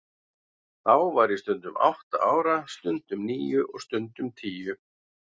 Þá var ég stundum átta ára, stundum níu og stundum tíu.